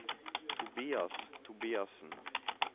Tobias Tobiassen